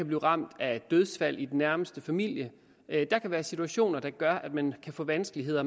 blive ramt af dødsfald i den nærmeste familie der kan være situationer der gør at man kan få vanskeligheder